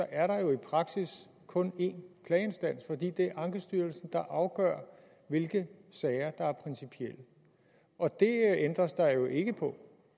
er der jo i praksis kun en klageinstans fordi det er ankestyrelsen der afgør hvilke sager der er principielle og det ændres der jo ikke på